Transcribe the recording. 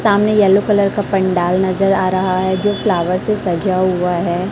सामने yellow colour का पंडाल नजर आ रहा है जो फ्लावर से सजा हुआ है।